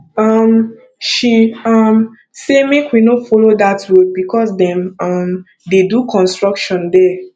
um she um say make we no follow dat road because dem um dey do construction there